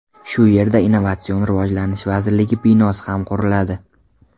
Shu yerda Innovatsion rivojlanish vazirligi binosi ham quriladi.